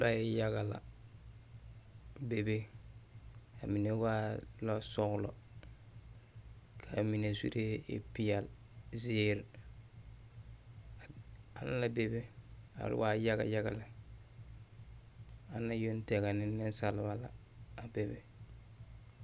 Lɔɛ yaga la bebe, a mine waa la lɔsɔgelɔ ka mine zuree e peɛle, zeere, aŋ la bebe a waa yaga yaga lɛ. ana yoŋ tɛgɛ ne nensalba la a bebe.